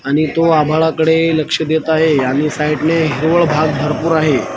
आणि तो आभाळाकडे लक्ष देत आहे आणि साईटने हिरवळ भाग भरपूर आहे.